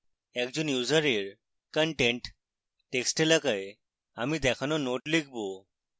একজন ইউসারের content text এলাকায় আমি দেখানো note লিখব